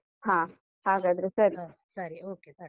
ಹಾ ಹಾಗಾದ್ರೆ ಸರಿ, ಹ ಸರಿ bye .